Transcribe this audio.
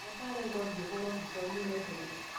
Ndagĩtarĩ auga ũthiĩ ũhũrwo mbica ũmũrehere